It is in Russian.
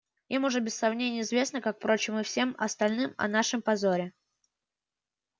им уже без сомнения известно как впрочем и всем остальным о нашем позоре